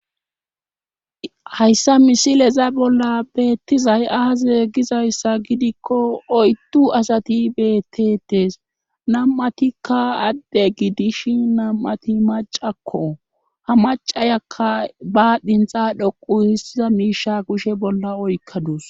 hayssa misileza bolla beettizay aaze gizayssa gidikko oyttu asati beetetees nam7atikka adde gidishi nam7ati macakko ha macayakka ba dhintha dhoqu hissiza miisha kushe bolla oykkadus